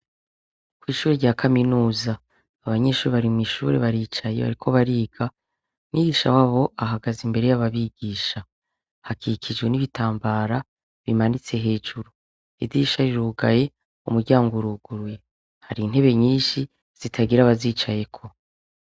Ko'ishuri rya kaminuza abanyinshuri barimw'ishure baricaye bariko bariga mwigisha w'abo ahagaze imbere y'ababigisha hakikijwe n'ibitambara bimanitse hejuru ridisha rirugaye umuryango uruguruye hari intebe nyinshi zitagira abazicayeko.